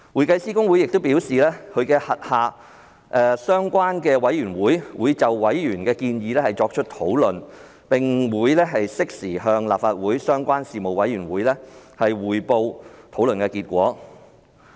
公會又表示，其轄下的相關委員會會討論委員的建議，並適時向立法會相關事務委員會匯報討論結果。